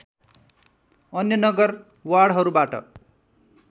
अन्य नगर वार्डहरूबाट